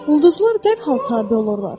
Ulduzlar dərhal tabe olurlar.